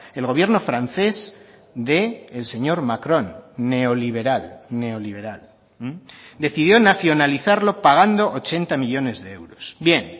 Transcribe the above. el gobierno francés del señor macron neoliberal neoliberal decidió nacionalizarlo pagando ochenta millónes de euros bien